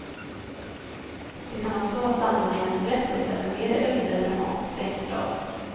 De kan också vara sammanhängande berättelser med mer eller mindre dramatiska inslag.